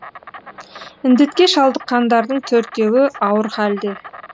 індетке шалдыққандардың төртеуі ауыр халде